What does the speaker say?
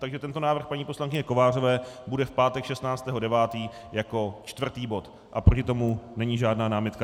Takže tento návrh paní poslankyně Kovářové bude v pátek 16. 9. jako čtvrtý bod a proti tomu není žádná námitka.